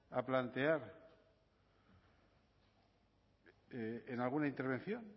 a plantear en alguna intervención